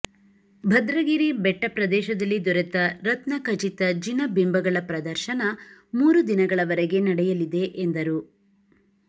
ಭದ್ರಗಿರಿ ಬೆಟ್ಟ ಪ್ರದೇಶದಲ್ಲಿ ದೊರೆತ ರತ್ನ ಖಚಿತ ಜಿನ ಬಿಂಬಗಳ ಪ್ರದರ್ಶನ ಮೂರು ದಿನಗಳವರೆಗೆ ನಡೆಯಲಿದೆ ಎಂದರು